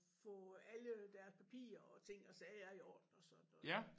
Få alle deres papirer og ting og sager i orden og sådan noget